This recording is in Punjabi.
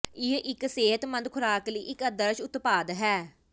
ਇਹ ਇੱਕ ਸਿਹਤਮੰਦ ਖੁਰਾਕ ਲਈ ਇੱਕ ਆਦਰਸ਼ ਉਤਪਾਦ ਹੈ